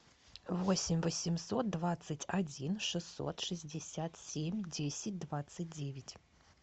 восемь восемьсот двадцать один шестьсот шестьдесят семь десять двадцать девять